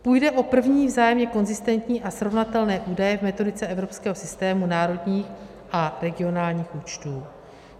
Půjde o první vzájemně konzistentní a srovnatelné údaje v metodice evropského systému národních a regionálních účtů.